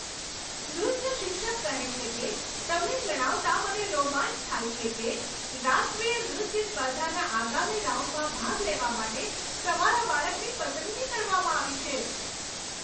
નૃત્ય શિક્ષક કહે છે કે, તમને જણાવતાં મને રોમાંચ થાય છે કે રાષ્ટ્રીય નૃત્ય સ્પર્ધાના આગામી રાઉન્ડમાં ભાગ લેવા માટે તમારા બાળકની પસંદગી કરવામાં આવી છે.